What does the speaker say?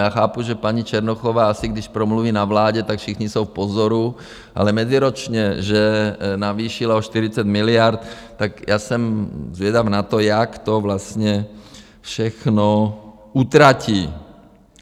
Já chápu, že paní Černochová asi když promluví na vládě, tak všichni jsou v pozoru, ale meziročně že navýšila o 40 miliard, tak já jsem zvědav na to, jak to vlastně všechno utratí.